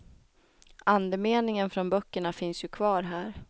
Andemeningen från böckerna finns ju kvar här.